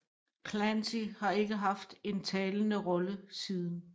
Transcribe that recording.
Clancy har ikke haft en talende rolle siden